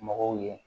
Mɔgɔw ye